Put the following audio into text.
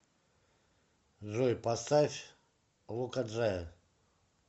джой поставь лока джая